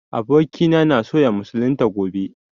Abokina na so ya musulunta gobe